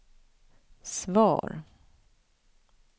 svar